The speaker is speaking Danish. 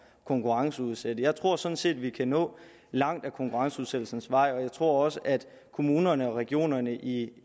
konkurrenceudsætte jeg tror sådan set vi kan nå langt ad konkurrenceudsættelsens vej og jeg tror også at kommunerne og regionerne i